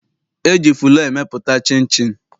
E ji fụlọọ emepụta chịnchịn.